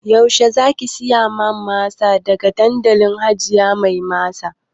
Yaushe zaki siya min masa daga dandalin hajiya mai masa